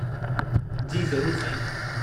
जी ज़रूरु, साईं।